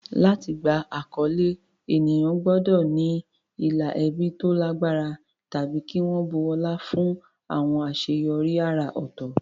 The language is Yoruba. Láti gba àkọlé, ènìyàn gbọ́dọ̀ ní ìlà ẹbí tó lágbára tàbí kí wọ́n bu ọlá fún àwọn àṣeyọrí àrà ọ̀tọ̀.